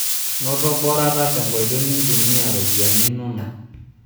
Noto borata tenkoitoi nintumia ropiyiani inonok